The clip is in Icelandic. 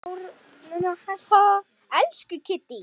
Elsku Kiddý.